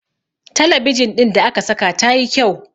talabijin ɗin da aka sa ta yi kyau